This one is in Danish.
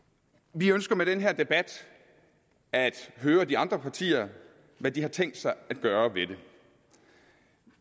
vi ønsker med den her debat at høre de andre partier hvad de har tænkt sig at gøre ved det